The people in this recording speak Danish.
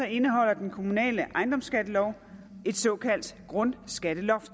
indeholder den kommunale ejendomsskattelov et såkaldt grundskatteloft